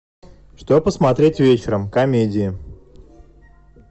что посмотреть вечером комедии